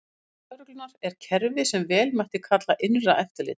Innan lögreglunnar er kerfi sem vel mætti kalla innra eftirlit.